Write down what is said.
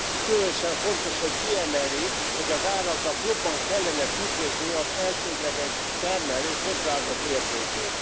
Különösen fontos, hogy kiemeli, hogy az áraknak jobban kellene tükrözniük az elsődleges termelők hozzáadott értékét.